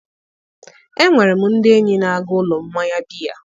Enwere m ndị enyi na-aga ụlọ mmanya biya